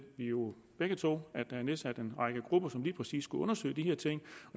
jo begge to at der er nedsat en række grupper som lige præcis skal undersøge de her ting